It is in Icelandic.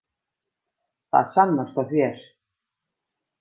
Það sannast á þér.